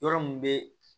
Yɔrɔ mun be